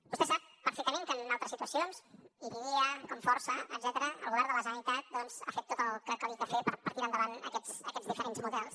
vostè sap perfectament que en altres situacions idiada comforsa etcètera el govern de la generalitat doncs ha fet tot el que calia fer per tirar endavant aquests diferents models